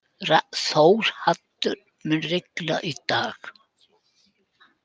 Þórhaddur, mun rigna í dag?